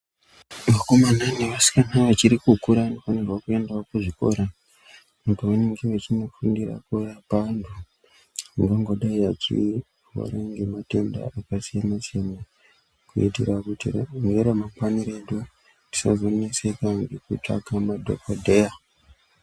Vakomana ne vasikana vachiri kukura vano fanirwa kuendawo ku zvikora uko vanenge vechino fundira kurapa vantu vangango dai vachi rwara nge matenda aka siyana siyana kuitira kuti nge ramangwani redu tisazo neseka ngeku tsvaka madhokodheya.